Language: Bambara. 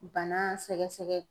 Bana sɛgɛsɛgɛ